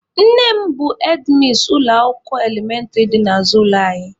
Nne m bụ hedmis ụlọ akwụkwọ elementịrị dị n'azụ ụlọ anyị.